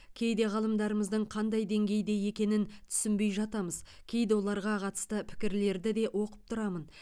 кейде ғалымдарымыздың қандай деңгейде екенін түсінбей жатамыз кейде оларға қатысты пікірлерді де оқып тұрамын